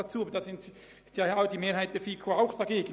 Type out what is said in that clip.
Auch hier stimmte die Mehrheit der FiKo-Mitglieder dagegen.